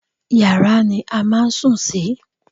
Yàrá ni a máà sùn sí.